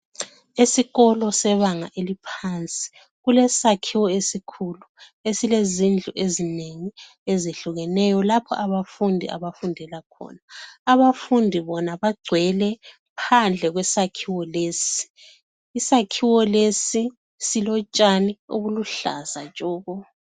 Esikolo sebanga eliphansi kulesakhiwo esikhulu esilezindlu ezinengi ezehlukeneyo lapho abafundi abafundela khona. Abafundi bona bagcwele phandle kwesakhiwo lesi. Isakhiwo lesi silotshani obuluhlaza tshoko.